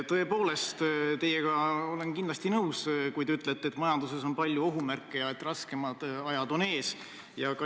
Tõepoolest, ma olen teiega kindlasti nõus, kui te ütlete, et majanduses on palju ohumärke ja raskemad ajad on ees.